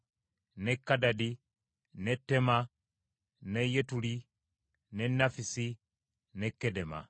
ne Kadadi, ne Teema, ne Yetuli, ne Nafisi ne Kedema.